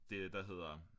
Det der hedder